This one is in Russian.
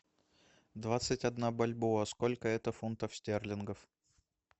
двадцать одна бальбоа сколько это фунтов стерлингов